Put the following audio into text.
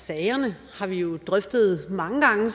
sagerne har vi jo drøftet mange gange